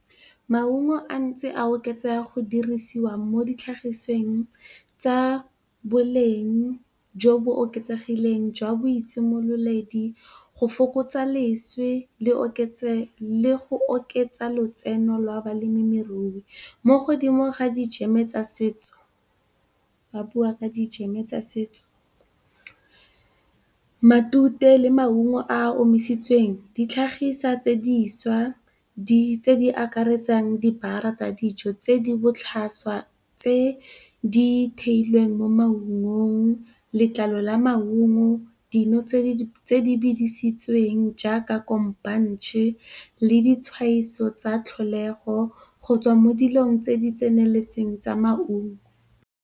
Maungo a ntse a oketsega go dirisiwa mo ditlhagisweng tsa boleng jo bo oketsegileng jwa boitsimololedi go fokotsa leswe le go oketsa lotseno lwa balemirui mo godimo ga dijeme tsa setso, ba bua ka dijeme tsa setso, matute le maungo a a omisitsweng di tlhagisa tse diša, dilo tse di akaretsang dibara tsa dijo tse di botlhaswa tse di theilweng mo maungong, letlalo la maungo, dino tse di bidisitsweng jaaka kombanje le di tshwaiso tsa tlholego go tswa mo dilong tse di tseneletseng tsa maungo.